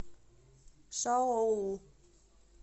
шаоу